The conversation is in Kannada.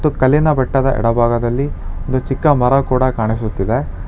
ಕಲ್ಲಿನ ಬೆಟ್ಟದ ಎಡಭಾಗದಲ್ಲಿ ಒಂದು ಚಿಕ್ಕ ಮರ ಕೂಡ ಕಾಣಿಸುತ್ತಿದೆ.